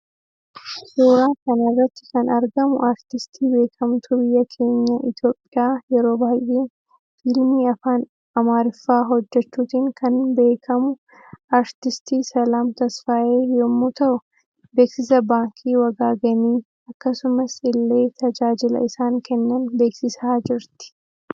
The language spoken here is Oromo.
Suuraa kanarratti kan argamu aartistii beekamtuu biyya keenya itoophiya yeroo baay'ee fiilmii afaan amariffaa hojjechuutiin kan beekamu aartistii selaam tesfaaye yommuu ta'u beeksisa baankii wagaagenii akkasumas ille tajaajila isaan Kennan beeksisaa jirti.